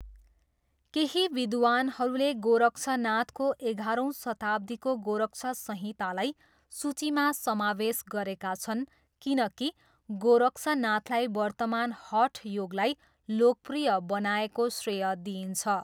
केही विद्वानहरूले गोरक्षनाथको एघारौँ शताब्दीको गोरक्ष संहितालाई सूचीमा समावेश गरेका छन् किनकि गोरक्षनाथलाई वर्तमान हठ योगलाई लोकप्रिय बनाएको श्रेय दिइन्छ।